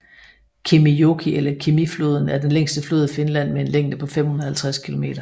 Kemijoki eller Kemifloden er den længste flod i Finland med en længde på 550 km